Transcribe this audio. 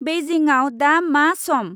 बेइजिंआव दा मा सम?